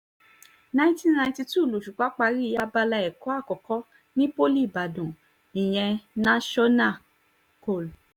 nineteen ninety two lòṣùpá parí abala ẹ̀kọ́ àkọ́kọ́ ní poli ìbàdàn ìyẹn national kol